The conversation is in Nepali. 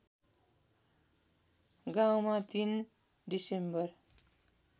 गाउँमा ३ डिसेम्बर